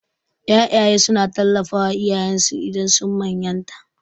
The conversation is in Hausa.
Ƴaƴaye suna tallafawa iyayensu idan sun manyanta.